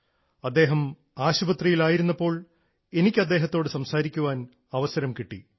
അദ്ദേഹം ആശുപത്രിയിൽ ആയിരുന്നപ്പോൾ എനിക്ക് അദ്ദേഹത്തോടു സംസാരിക്കാൻ അവസരം കിട്ടി